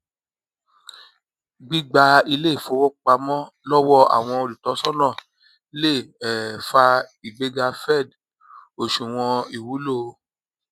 gbígba iléìfowópamọ lọwọ àwọn olùtọsọnà lè um fa ìgbéga fed òṣùwọn ìwúlò